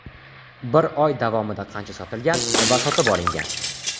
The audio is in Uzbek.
Bir oy davomida qancha sotilgan va sotib olingan?